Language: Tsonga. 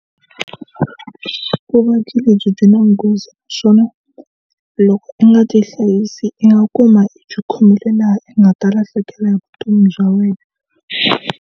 Vuvabyi lebyi byi na nghozi naswona loko i nga ti hlayisi i nga kuma i khomile laha i nga ta lahlekela hi vutomi bya wena.